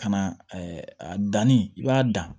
Ka na a danni i b'a dan